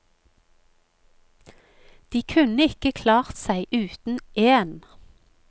De kunne ikke klart seg uten én.